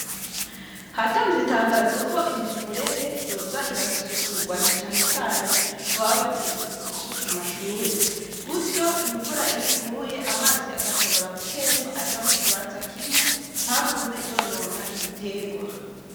Hatanzwe itangazo ko imifurege yoza irasukugwa na cane cane ku baba bajejwe isuku ku mashure. Gutyo iyo imvura iguye, amazi agshobora gutemba aja mu kibanza kimwe ntagume yonona ibitegwa.